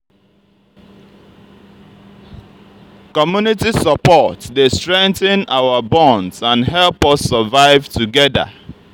community support dey strengthen our bonds and help us survive together.